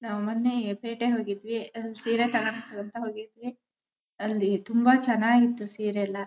ನಾವು ಮೊನ್ನೆ ಪೇಟೆಗೆ ಹೋಗಿದ್ವಿ ಸೀರೆ ತಗಣಕ್ ಅಂತ ಹೋಗಿದ್ವಿ. ಅಲ್ಲಿ ತುಂಬಾ ಚೆನ್ನಾಗಿ ಇತ್ತು ಸೀರೆ ಎಲ್ಲ.